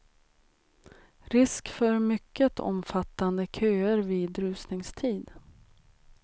Risk för mycket omfattande köer vid rusningstid.